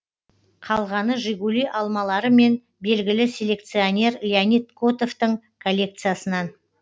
қалғаны жигули алмалары мен белгілі селекционер леонид котовтың коллекциясынан